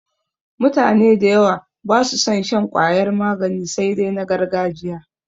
Mutane da yawa ba su son shan ƙwayar magani sai dai na gargajiya.